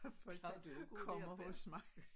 Folk der kommer hos mig